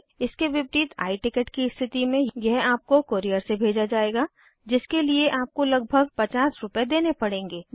इसके विपरीत I ticket की स्थिति में यह आपको कोरियर से भेजा जायेगा जिसके लिए आपको लगभग 50 रूपए देने पड़ेंगे